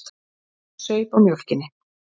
Hún saup á mjólkinni.